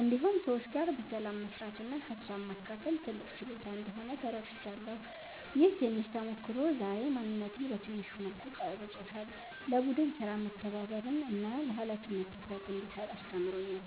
እንዲሁም ሰዎች ጋር በሰላም መስራት እና ሀሳብ ማካፈል ትልቅ ችሎታ እንደሆነ ተረድቻለሁ። ይህ ትንሽ ተሞክሮ ዛሬ ማንነቴን በትንሹ መልኩ ቀርጾታል፤ ለቡድን ሥራ መተባበርን እና ለኃላፊነት ትኩረት እንድሰጥ አስተምሮኛል።